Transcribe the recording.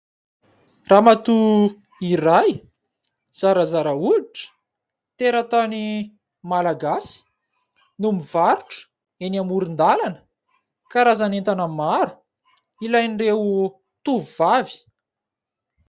Ramatoa iray zarazara hoditra, teratany Malagasy no mivarotra eny amoron-dalana karazan'entana maro ilain'ireo tovovavy.